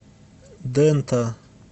дэнта